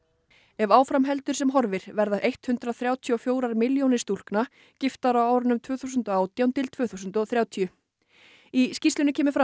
ef áfram heldur sem horfir verði hundrað þrjátíu og fjórar milljónir stúlkna giftar á árunum tvö þúsund og átján til tvö þúsund og þrjátíu í skýrslunni kemur fram